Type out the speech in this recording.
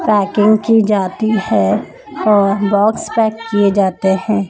Packing की जाती है और बॉक्स पैक किए जाते हैं।